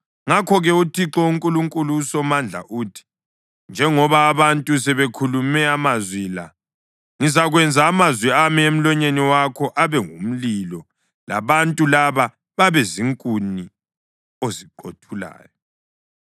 Ngakho-ke uThixo uNkulunkulu uSomandla uthi: “Njengoba abantu sebekhulume amazwi la, ngizakwenza amazwi ami emlonyeni wakho abe ngumlilo labantu laba babe zinkuni oziqothulayo.”